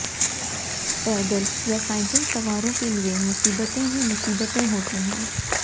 पैदल या साइकिल सवारों के लिए मुसीबतें ही मुसीबतें होती हैं